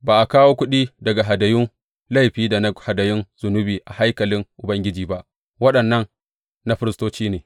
Ba a kawo kuɗi daga hadayun laifi da na hadayun zunubi a haikalin Ubangiji ba, waɗannan na firistoci ne.